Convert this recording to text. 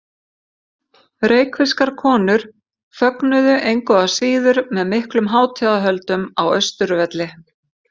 Reykvískar konur fögnuðu engu að síður með miklum hátíðahöldum á Austurvelli.